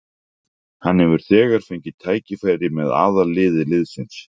Hann hefur þegar fengið tækifæri með aðalliði liðsins.